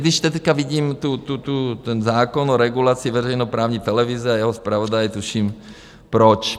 Když teď vidím ten zákon o regulaci veřejnoprávní televize a jeho zpravodaje, tuším proč.